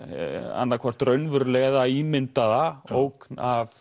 annað hvort raunverulega eða ímyndaða ógn af